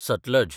Sutlej